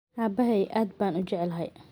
Aabahay aad baan u jeclahay.